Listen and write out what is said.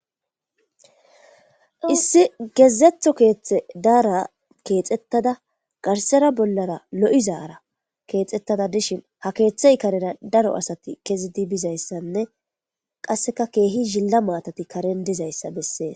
issi gezetho keeththe daara keexettada garsera bollara lo7izaara keexettada dishin ha keeththey karera daro asati kezidi bizayssanne qasseka keehi zilla maatati karen dizayssa bessee